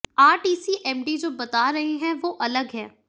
RTC MD जो बता रहे है वो अलग है